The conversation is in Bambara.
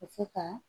Ka se ka